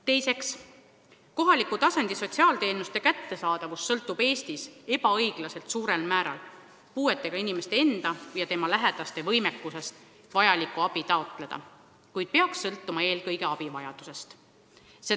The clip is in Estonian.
Teiseks, kohaliku tasandi sotsiaalteenuste kättesaadavus sõltub Eestis ebaõiglaselt suurel määral puuetega inimeste endi ja nende lähedaste võimekusest vajalikku abi taotleda, kuid see peaks sõltuma eelkõige abi vajadusest.